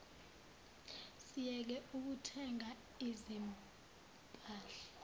siyeke ukuthenga izimpahla